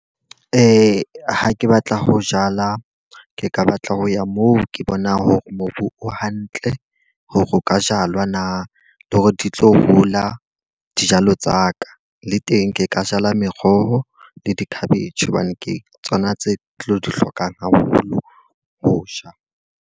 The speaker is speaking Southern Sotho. Ha ke batla ho jala, ke ka batla ho ya moo ke bonang hore mobu o hantle hore o ka jalwa na. Le hore di tlo hola dijalo tsa ka. Le teng ke ka jala meroho le di-cabbage. Hobane ke tsona tse tlo di hlokang haholo, ho ja.